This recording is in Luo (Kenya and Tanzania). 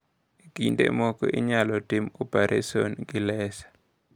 E kinde moko, inyalo timo opereson gi laser.